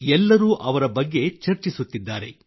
ಎಲ್ಲರೂ ಅವರ ಬಗ್ಗೆ ಚರ್ಚಿಸುತ್ತಿದ್ದಾರೆ